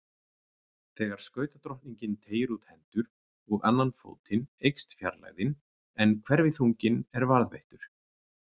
Þegar skautadrottningin teygir út hendur og annan fótinn eykst fjarlægðin en hverfiþunginn er varðveittur.